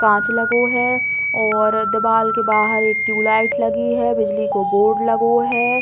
काँच लगो है और दीवाल के बाहर एक टीयू लाइट लगी है बिजली को बोर्ड लगो है।